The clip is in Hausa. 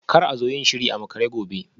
Kar a zo yin shiri a makare gobe